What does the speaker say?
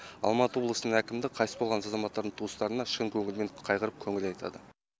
алматы облысының әкімдігі қайтыс болған азаматтардың туыстарына шын көңілмен қайғырып көңіл айтады